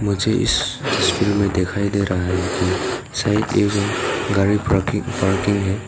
मुझे इस तस्वीर में दिखाई दे रहा है कि शायद ये जो गाड़ी पार्की पार्किंग है।